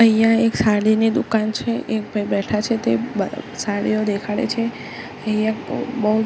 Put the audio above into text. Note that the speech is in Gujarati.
અહીંયા એક સાડીની દુકાન છે એક ભાઈ બેઠા છે તે સાડીઓ દેખાડે છે અહીંયા બો--